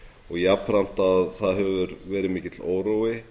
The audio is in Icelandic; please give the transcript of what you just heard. og jafnframt að það hefur verið mikill órói